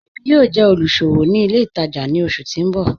Èmi yóò jẹ́ olúṣọwò ní ilẹ̀ ìtaja ni ọṣù tì n bọ̀.